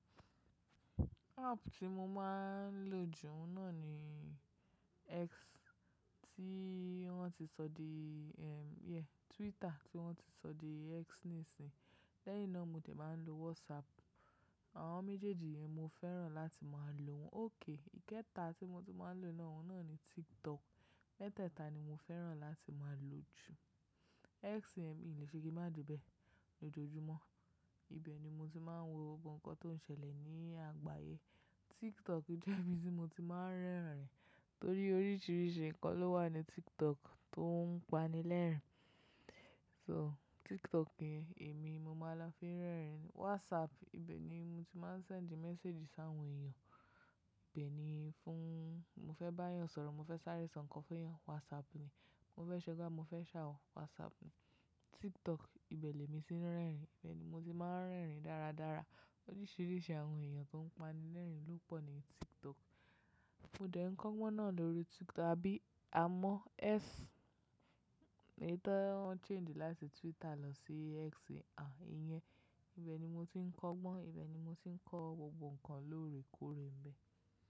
App tí mo máa ń lò jù náà ni X, tí wọ́n ti sọ di, yeah Twitter tí wọ́n ti sọ di X nísìnyí. Lẹ́yìn náà mo ti máa ń lo WhatsApp. Àwọn méjèèjì yẹn mo fẹ́ràn láti máa lò wọ́n. Okay, ìkẹta tí mo ti máa ń lò náà ni TikTok. Mẹ́tẹ̀ẹ̀ta ni mo fẹ́ràn láti máa lò jù. X, yenmi lè ṣe kí má de bẹ́ẹ̀ lójoojúmọ́. Ibẹ̀ ni mo ti máa ń wo gbogbo nǹkan tó ń ṣẹlẹ̀ ní àgbáyé. TikTok jẹ́ ibi tí mo ti máa ń rẹ́rìn-ín, torí oríṣiríṣi nǹkan ló wà ní TikTok tó ń pani lẹ́rìn-ín. So, TikTok ni èmi mo máa ń lo fi ń rẹ́rìn-ín. WhatsApp ibẹ̀ ni mo ti máa ń send message sí àwọn èèyàn. Ibẹ̀ ni fún mo fẹ́ bá yàn sọ̀rọ̀, mo fẹ́ sárẹ̀ ẹ ṣọ̀n kan fún yàn, WhatsApp ni. Mo fẹ́ ṣe gba, mo fẹ́ ṣàwọ̀, WhatsApp ni. TikTok ibẹ̀ ni èmi ti ń rẹ́rìn-ín. Ibẹ̀ ni mo ti máa ń rẹ́rìn-ín dáradára. Oríṣiríṣi àwọn èèyàn tó ń pani lẹ́rìn-ín ló pọ̀ ní TikTok. Fún dẹ̀ ń kọ́gbọ́n náà lórí Twitter àbí a mọ X. Èyí tó wọ́n change láti Twitter lọ sí X. Yẹn ibẹ̀ ni mo ti ń kọ́gbọ́n, ibẹ̀ ni mo ti ń kọ́ gbogbo nǹkan lóore kóre un bẹ́ẹ̀.